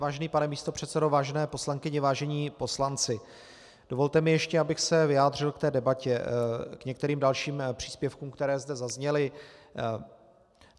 Vážený pane místopředsedo, vážené poslankyně, vážení poslanci, dovolte mi ještě, abych se vyjádřil k té debatě, k některým dalším příspěvkům, které zde zazněly.